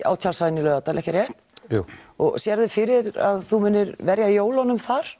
á tjaldsvæðinu í Laugardal ekki rétt jú og sérðu fyrir þér að þú munir verja jólunum þar